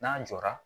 N'an jɔra